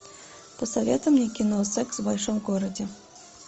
посоветуй мне кино секс в большом городе